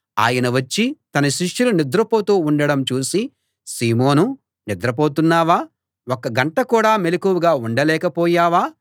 ఆయన వచ్చి తన శిష్యులు నిద్రపోతూ ఉండడం చూసి సీమోనూ నిద్రపోతున్నావా ఒక్క గంట కూడా మెలకువగా ఉండలేకపోయావా